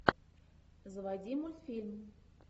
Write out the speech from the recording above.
заводи мультфильм